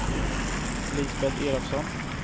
Lisbet Elofsson